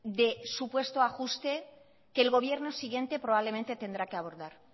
de supuesto ajuste que el gobierno siguiente probablemente tendrá que abordar